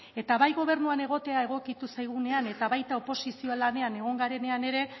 eta bai gobernuan egotea egokitu zaigunean eta baita oposizio lanean egon garenean ere